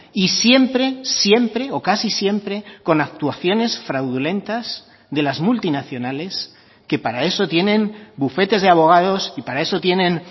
y siempre siempre o casi siempre con actuaciones fraudulentas de las multinacionales que para eso tienen bufetes de abogados y para eso tienen